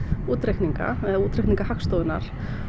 útreikninga eða útreikninga Hagstofunnar